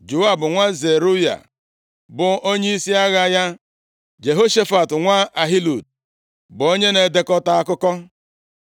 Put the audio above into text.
Joab nwa Zeruaya bụ onyeisi agha ya; Jehoshafat nwa Ahilud bụ onye na-edekọta akụkọ.